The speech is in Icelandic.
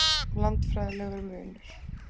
Landfræðilegur munur